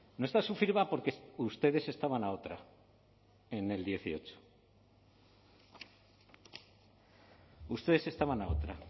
no está su firma porque ustedes estaban a otra en el dieciocho ustedes estaban a otra